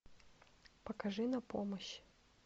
покажи на помощь